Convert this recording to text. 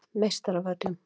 Meistaravöllum